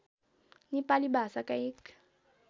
नेपाली भाषाका एक